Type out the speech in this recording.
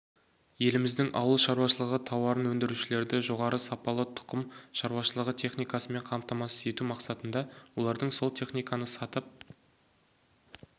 еліміздің ауылшаруашылығы тауарын өндірушілерді жоғары сапалы тұқым шаруашылығы техникасымен қамтамасыз ету мақсатында олардың сол техниканы сатып